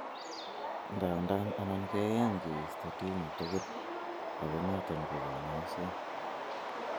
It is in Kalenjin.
Ndandan anan keyany keisto tumor tugul ago noton ko konyoiset.